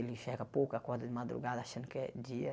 Ele enxerga pouco, e acorda de madrugada achando que é dia.